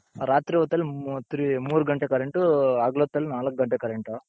ರಾತ್ರಿ ಹೊತ್ತಲ್ಲಿ ಮೂರ್ three ಮೂರು ಘಂಟೆ current ಹಗಲೊತ್ತಲ್ಲಿ ನಾಲ್ಕ್ ಘಂಟೆ current.